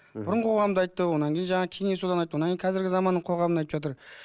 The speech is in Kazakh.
мхм бұрынғы қоғамды айтты одан кейін жаңағы кеңес одағын айтты одан кейін қазіргі заманның қоғамнын айтып жатыр